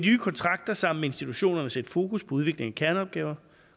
nye kontrakter sammen med institutionerne sætte fokus på udvikling af kerneopgaverne